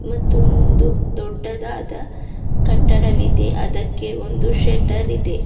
ಮತ್ತೊಂದು ದೊಡ್ಡದಾದ ಕಟ್ಟಡವಿದೆ ಅದಕ್ಕೆ ಒಂದು ಶೇಟರ್ ಇದೆ.